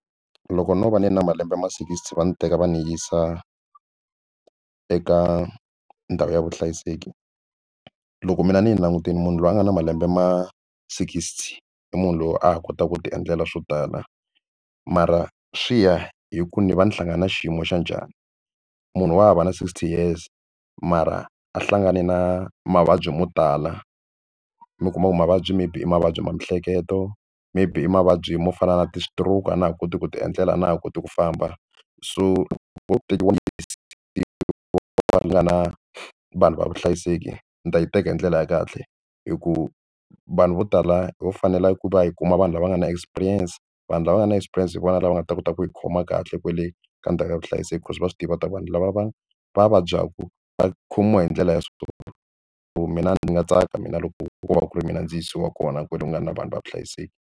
Loko no va ni na malembe ma sixty va ndzi teka va ndzi yisa eka ndhawu ya vuhlayiseki loko mina ni yi langutile munhu loyi a nga na malembe ma sixty i munhu loyi a ha kotaka ku tiendlela swo tala mara swi ya hi ku ni va ni hlangana na xiyimo xa njhani. Munhu wa hava na sixty years mara a hlangane na mavabyi mo tala mi kuma ku mavabyi maybe i mavabyi ma miehleketo maybe i mavabyi mo fana na ti-stroke a na ha koti ku ti endlela na ha koti ku famba so va tekiwa va nga na vanhu va vuhlayiseki ni ta yi teka hi ndlela ya kahle hikuva vanhu vo tala vo fanela ku va hi kuma vanhu lava nga na experience. Vanhu lava nga na experience hi vona lava nga ta kota ku yi khoma kahle kwale ka ndzhaku ya vuhlayiseki cause va swi tiva ta ku vanhu lava va vabyaka va khomiwa hi ndlela ya so so mina ni nga tsaka mina loko ko va ku ri mina ndzi yisiwa kona kwale ku nga na vanhu va vuhlayiseki.